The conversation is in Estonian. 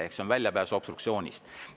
See on väljapääs obstruktsioonist.